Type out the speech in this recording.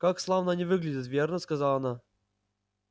как славно они выглядят верно сказала она